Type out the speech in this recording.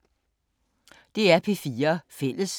DR P4 Fælles